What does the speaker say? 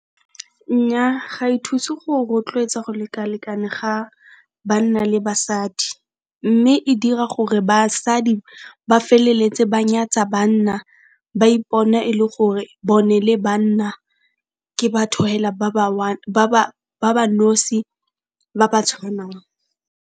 Nnyaa ga e thuse go rotloetsa go lekalekana ga banna le basadi, mme e dira gore basadi ba feleletse ba nyatsa banna, ba ipona e le gore bone le banna ke batho fela ba ba one ba ba nosi ba ba tshwanang.